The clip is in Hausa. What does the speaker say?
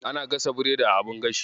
Ana gasa biredi a abin gashi.